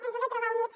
ens ha de trobar units